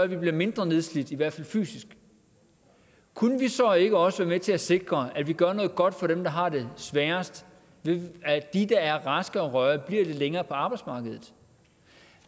vi bliver mindre nedslidt i hvert fald fysisk kunne vi så ikke også være med til at sikre at vi gør noget godt for dem der har det sværest ved at de der er raske og rørige bliver lidt længere på arbejdsmarkedet